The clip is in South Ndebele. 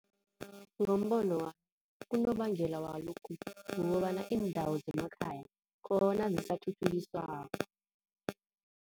Ngombono wami, unobangela walokhu kukobana iindawo zemakhaya khona zisathuthukiswako.